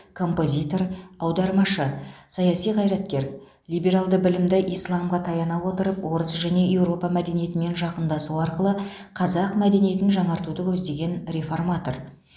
философ композитор аудармашы саяси қайраткер либералды білімді исламға таяна отырып орыс және еуропа мәдениетімен жақындасу арқылы қазақ мәдениетін жаңартуды көздеген реформатор